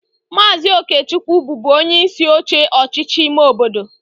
Maazị Okechukwu bụbu onyeisi oche ọchịchị ime obodo